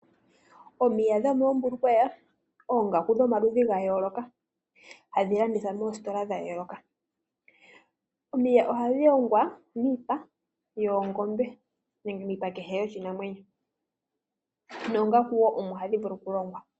Omiya dhomoo mbulukweya ,oongaku dha yooloka hadhi landithwa moositola dha yooloka..Omiya oha dhi longwa miipa yoongombe nenge miipa kehe yoshi namwenyo noongaku wo omo hadhi vulu oku longwa..